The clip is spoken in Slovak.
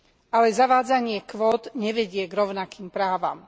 Ale zavádzanie kvót nevedie k rovnakým právam.